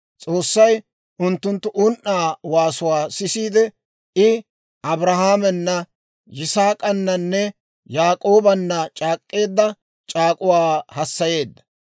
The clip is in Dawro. S'oossay unttunttu un"aa waasuwaa sisiide, I Abrahaamena, Yisaak'ananne Yaak'oobanna c'aak'k'eedda c'aak'uwaa hassayeedda.